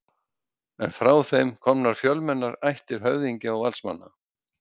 eru frá þeim komnar fjölmennar ættir höfðingja og valdsmanna